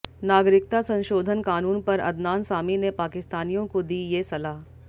नागरिकता संशोधन कानून पर अदनान सामी ने पाकिस्तानियों को दी ये सलाह